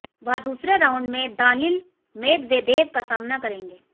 वह दूसरे राउंड में दानिल मेदवेदेव का सामना करेंगे